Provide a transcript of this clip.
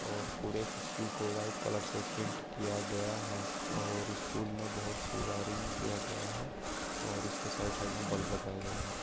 और पूरे स्कूल को वाइट कलर से पेन्ट किया गया है और स्कूल मे बोहोत सी वायरिंग किया गया है और इस के साइड -साइड मे बल्ब लगाए गए है।